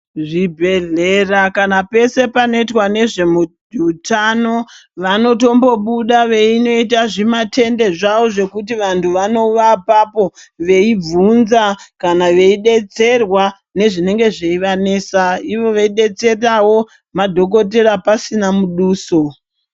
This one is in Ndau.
Zvibhedhlera kana pese panoitwa nezvehutano vanotombobuda veinoita zvimatende zvavo zvekuti vantu vanova apapo vei vhunza kana veidetserwa nezvinenge zveivanetsa ivo veidetserawo madhokoteya pasina muduso.